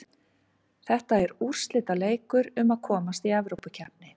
Þetta er úrslitaleikur um að komast Evrópukeppni.